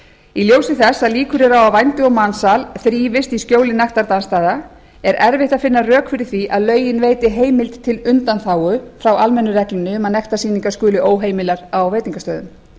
í ljósi þess að líkur eru á að vændi og mansal þrífist í skjóli nektardansstaða er erfitt að finna rök fyrir því að lögin veiti heimild til undanþágu frá almennu reglunni um að nektarsýningar skuli óheimilar á veitingastöðum